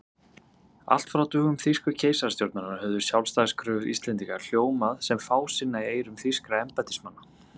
Allt frá dögum þýsku keisarastjórnarinnar höfðu sjálfstæðiskröfur Íslendinga hljómað sem fásinna í eyrum þýskra embættismanna.